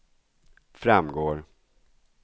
framgår